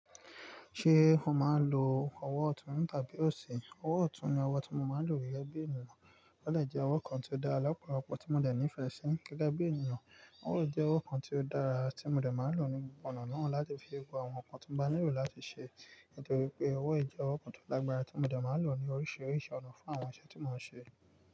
Ṣé o máa ń lo ọwọ́ ọ̀tún tàbí òsì? Ọwọ́ ọ̀tún ni ọwọ́ tí mo máa ń lò gẹ́gẹ́ bí ènìyàn, ó dè jẹ́ ọwọ́ kan tí ó dáa lọ́pọ̀lọpọ̀ ọ̀pọ̀ tí mo dẹ̀ ní ìfẹ́ sí gẹ́gẹ́ bí ènìyàn, ó jẹ́ ọwọ́ kan tí ó dára tí mo dẹ̀ máa ń lò ní gbogbo ọ̀nà náà láti fi se gbogbo àwọn nǹkan tó bá nílò láti ṣe, nítorí pé owó jẹ ọwọ́ kan tó lágbára tí mo dẹ̀ máa ń lò ní oríṣiríṣi ọ̀nà fún àwọn iṣẹ́ tí mò ń ṣe.